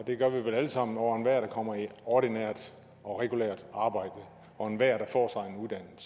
det gør vi vel alle sammen over enhver der kommer i ordinært og regulært arbejde og enhver der at